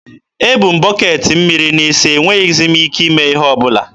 e bu m bọketị mmiri n'isi, e nweghịzi m ike ime ihe ọbụla.